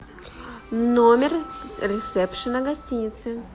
номер ресепшна гостиницы